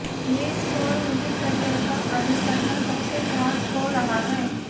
ये स्कोर उनके करियर का अभी तक का सबसे ख़राब स्कोर रहा है